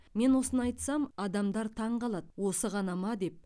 мен осыны айтсам адамдар таңқалады осы ғана ма деп